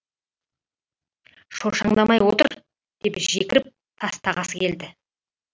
шошаңдамай отыр деп жекіріп тастағысы келді